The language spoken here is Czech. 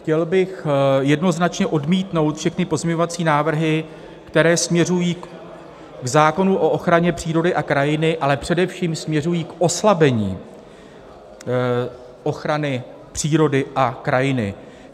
Chtěl bych jednoznačně odmítnout všechny pozměňovací návrhy, které směřují k zákonu o ochraně přírody a krajiny, ale především směřují k oslabení ochrany přírody a krajiny.